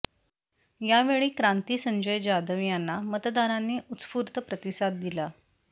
यावेळी क्रांती संजय जाधव यांना मतदारांनी उत्स्फू्र्त प्रतिसाद दिला